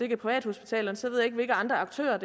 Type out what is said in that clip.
er privathospitalerne så ved jeg ikke hvilke andre aktører